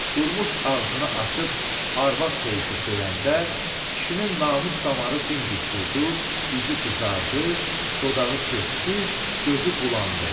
Durmuş ağzını açıb arvad söyüşü söyəndə, kişinin namus damarı dimdik durdu, üzü qızardı, dodağı pörtdü, gözü bulandı.